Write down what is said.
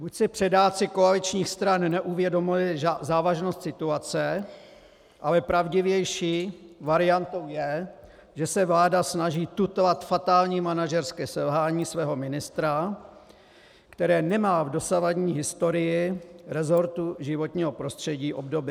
Buď si předáci koaličních stran neuvědomili závažnost situace, ale pravdivější variantou je, že se vláda snaží tutlat fatální manažerské selhání svého ministra, které nemá v dosavadní historii resortu životního prostředí obdoby.